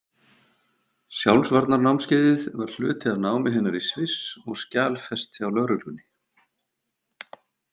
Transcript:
Sjálfsvarnarnámskeiðið var hluti af námi hennar í Sviss og skjalfest hjá lögreglunni.